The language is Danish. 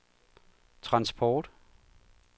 transport